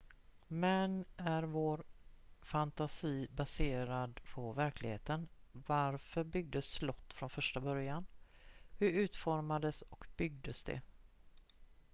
men är vår fantasi baserad på verkligheten varför byggdes slott från första början hur utformades och byggdes de